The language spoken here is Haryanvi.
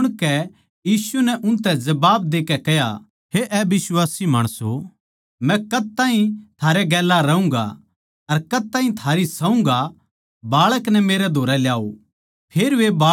न्यू सुणकै यीशु नै उनतै जबाब देकै कह्या हे अबिश्वासी माणसों मै कद ताहीं थारै गेल्या रहूँगा अर कद ताहीं थारी सहूँगा बाळक नै मेरै धोरै ल्याओ